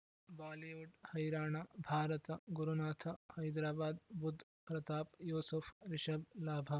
Bollywood ಹೈರಾಣ ಭಾರತ ಗುರುನಾಥ ಹೈದರಾಬಾದ್ ಬುಧ್ ಪ್ರತಾಪ್ ಯೂಸುಫ್ ರಿಷಬ್ ಲಾಭ